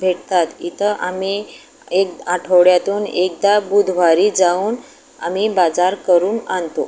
भेटतात इथं आही एक आठवड्यातून एकदा बुधवारी जाऊन आम्ही बाजार करून आणतो.